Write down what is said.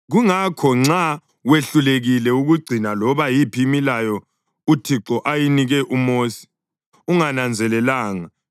“ ‘Kungakho nxa wehlulekile ukugcina loba yiphi imilayo uThixo ayinika uMosi ungananzelelanga,